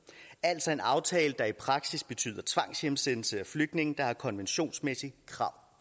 er altså en aftale der i praksis betyder tvangshjemsendelse af flygtninge der har konventionsmæssige krav